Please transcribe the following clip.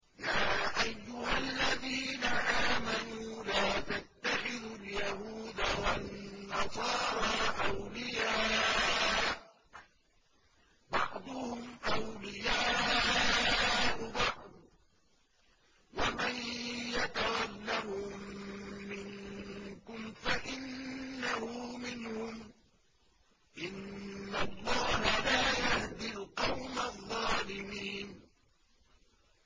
۞ يَا أَيُّهَا الَّذِينَ آمَنُوا لَا تَتَّخِذُوا الْيَهُودَ وَالنَّصَارَىٰ أَوْلِيَاءَ ۘ بَعْضُهُمْ أَوْلِيَاءُ بَعْضٍ ۚ وَمَن يَتَوَلَّهُم مِّنكُمْ فَإِنَّهُ مِنْهُمْ ۗ إِنَّ اللَّهَ لَا يَهْدِي الْقَوْمَ الظَّالِمِينَ